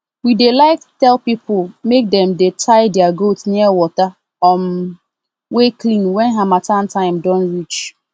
we dey like tell pipo make dem dey tie their goats near water um wey clean wen harmattan time don reach